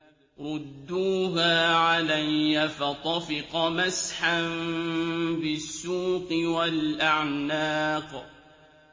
رُدُّوهَا عَلَيَّ ۖ فَطَفِقَ مَسْحًا بِالسُّوقِ وَالْأَعْنَاقِ